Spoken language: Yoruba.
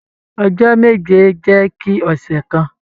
Ọjọ́ meje jẹ ki ọsẹ kan.